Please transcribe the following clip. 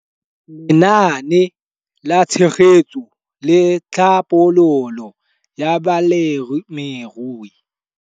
Lenaane la Tshegetso le Tlhabololo ya Balemirui.